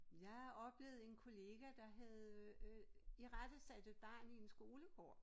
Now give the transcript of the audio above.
Jeg oplevede en kollega der havde øh øh irettesat et barn i en skolegård